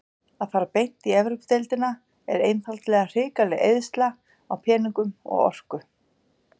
Að fara beint í Evrópudeildina er einfaldlega hrikaleg eyðsla á peningum og orku.